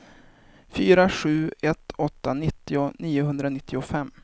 fyra sju ett åtta nittio niohundranittiofem